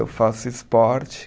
Eu faço esporte.